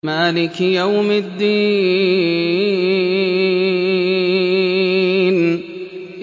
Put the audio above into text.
مَالِكِ يَوْمِ الدِّينِ